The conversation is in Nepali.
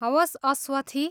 हवस्, अस्वथी।